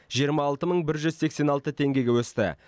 жиырма алты мың бір жүз сексен алты теңгеге өсті